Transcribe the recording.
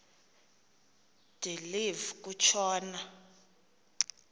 de live kutshona